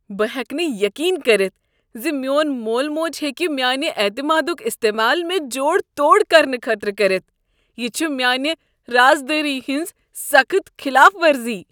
بہٕ ہیٚکہٕ نہٕ یقین کٔرتھ زِ میون مول موج ہیکِہ میانِہ اعتمادک استعمال مےٚ جوڑ توڑ کرنہٕ خٲطرٕ کٔرتھ۔ یہ چھ میانہ راز دٲری ہنز سخت خلاف ورزی۔